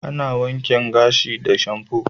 Ana wanken gashi da shamfu.